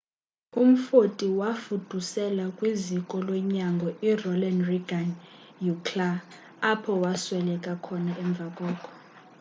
umfoti wafuduselwa kwiziko lonyango ironald reagan ucla apho wasweleka khona emva koko